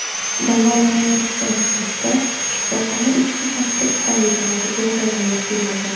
davolanayotgan paytda shifoxona ichki tartib-qoidalariga rioya qilmagan.